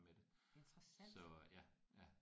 Interessant!